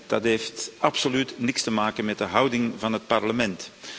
Dat heeft absoluut niets te maken met de houding van het Parlement.